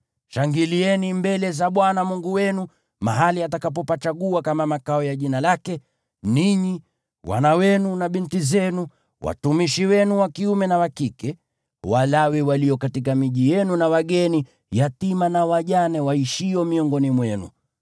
Shangilieni mbele za Bwana Mungu wenu mahali atakapopachagua kama makao ya Jina lake, ninyi, wana wenu na binti zenu, watumishi wenu wa kiume na wa kike, Walawi walio katika miji yenu, na wageni, yatima na wajane waishio miongoni mwenu.